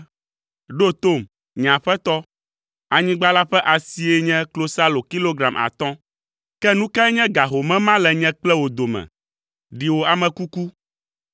“Ɖo tom, nye aƒetɔ; anyigba la ƒe asie nye klosalo kilogram atɔ̃. Ke nu kae nye ga home ma le nye kple wò dome? Ɖi wò ame kuku.”